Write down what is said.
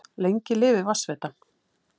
Lengi lifi Vatnsveitan!